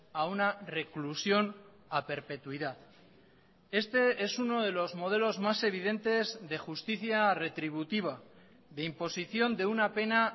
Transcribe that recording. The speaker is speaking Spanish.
a una reclusión a perpetuidad este es uno de los modelos más evidentes de justicia retributiva de imposición de una pena